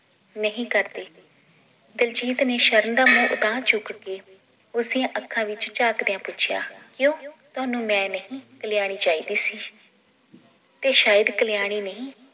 ਨਹੀਂ ਕਰਦੇ ਦਿਲਜੀਤ ਨੇ ਸ਼ਰਨ ਦਾ ਮੂੰਹ ਤਾਹ ਚੁੱਕ ਕੇ ਉਸਦੀਆਂ ਅੱਖਾਂ ਵਿਚ ਝਾਂਕਦਿਆਂ ਪੁੱਛਿਆ ਕਯੋਂ ਤੁਹਾਨੂੰ ਮੈ ਨਹੀ ਕਲਿਆਣੀ ਚਾਹੀਦੀ ਸੀ ਤੇ ਸ਼ਾਇਦ ਕਲਿਆਣੀ ਨਹੀ